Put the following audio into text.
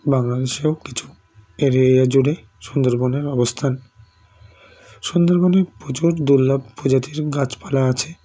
বাংলাদেশেও কিছু এড়িয়া জুড়ে সুন্দরবনের অবস্থান সুন্দরবনেও প্রচুর দুর্লভ প্রজাতির গাছপালা আছে